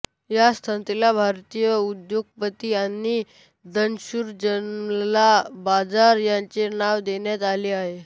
या संस्थेला भारतीय उद्योगपती आणि दानशूर जमनालाल बजाज यांचे नाव देण्यात आले आहे